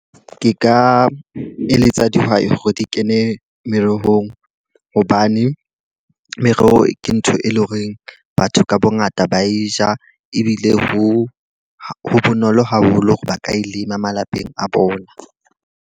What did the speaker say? Ke ka eletsa dihwai hore di kene merohong hobane meroho ke ntho e leng horeng batho ka bo ngata ba e ja. Ebile ho bonolo haholo hore ba ka e lema malapeng a bona.